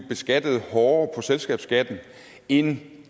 beskattet hårdere på selskabsskatten end